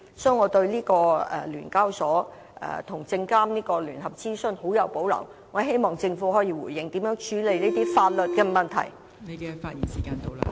所以，我對聯交所和證監會聯合資詢的建議極有保留，希望政府可以回應相關的法律問題。